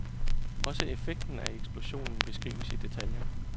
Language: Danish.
Også effekten af eksplosionen beskrives i detaljer.